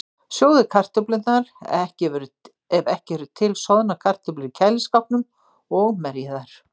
Sjóðið kartöflurnar, ef ekki eru til soðnar kartöflur í kæliskápnum, og merjið þær.